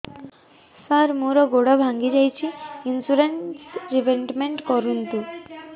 ସାର ମୋର ଗୋଡ ଭାଙ୍ଗି ଯାଇଛି ଇନ୍ସୁରେନ୍ସ ରିବେଟମେଣ୍ଟ କରୁନ୍ତୁ